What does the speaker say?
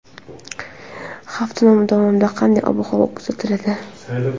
Hafta davomida qanday ob-havo kuzatiladi?.